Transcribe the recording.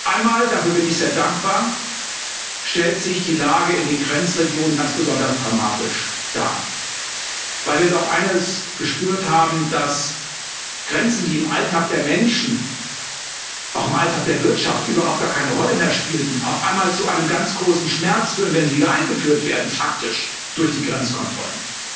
Einmal, dafür bin ich sehr dankbar, stellt sich die Lage in den Grenzregionen ganz besonders dramatisch dar, weil wir doch eines gespürt haben, dass Grenzen, die im Alltag der Menschen auch im Alltag der Wirtschaft überhaupt gar keine Rolle mehr spielten, auf einmal zu einem ganz großen Schmerz führen, wenn sie wieder eingeführt werden, faktisch, durch die Grenzkontrollen.